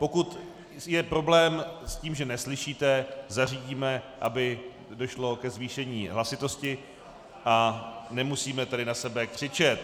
Pokud je problém s tím, že neslyšíte, zařídíme, aby došlo ke zvýšení hlasitosti, a nemusíme tady na sebe křičet.